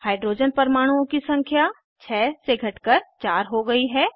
hydrogen परमाणुओं की संख्या 6 से घट कर 4 हो गयी है